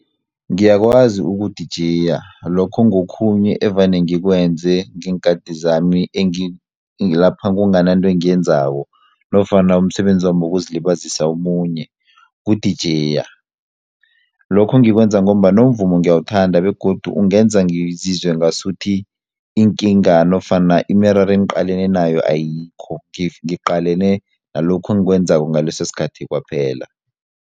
Ngiyakwazi ukudijeya lokho ngokhunye evane ngikwenze ngeenkhati zami lapha kungananto engiyenzako nofana umsebenzami wokuzilibazisa omunye kudijeya, lokhu ngikwenza ngombana umvumo ngiyawuthanda begodu ungenza ngizizwe ngasuthi iinkinga nofana imiraro engiqalene nayo ayikho ngiqalene nalokho engikwenzako ngaleso sikhathi kwaphela.